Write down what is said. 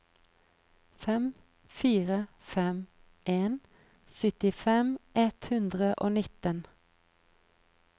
fem fire fem en syttifem ett hundre og nitten